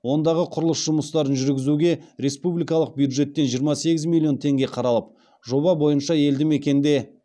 ондағы құрылыс жұмыстарын жүргізуге республикалық бюджеттен жиырма сегіз миллион теңге қаралып жоба бойынша елді мекенде